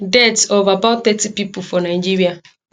death of about thirty pipo for nigeria